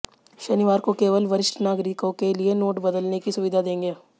शनिवार को केवल वरिष्ठ नागरिकों के लिए नोट बदलने की सुविधा देंगे